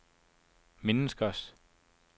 menneskers